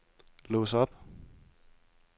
lås op